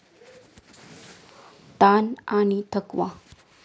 ताण आणि थकवा